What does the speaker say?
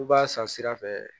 U b'a san sira fɛ